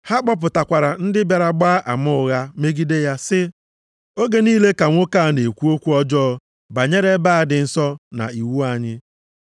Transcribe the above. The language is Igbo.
Ha kpọtakwara ndị bịara gbaa ama ụgha megide ya sị, “Oge niile ka nwoke a na-ekwu okwu ọjọọ banyere ebe a dị nsọ na iwu anyị.